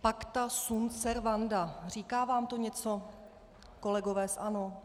Pacta sunt servanda - říká vám to něco, kolegové z ANO?